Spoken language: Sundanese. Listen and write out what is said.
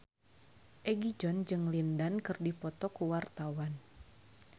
Egi John jeung Lin Dan keur dipoto ku wartawan